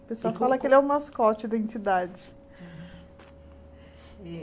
O pessoal fala que ele é o mascote da entidade.